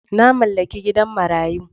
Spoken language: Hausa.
Na mallaki gidan marayu.